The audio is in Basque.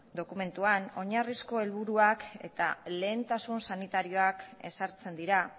dokumentuan oinarrizko helburuak eta lehentasun sanitarioak ezartzen dira